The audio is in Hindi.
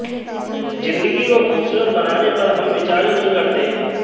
जिंदगी को खूबसूरत बनाने पर हम विचार ही नहीं करते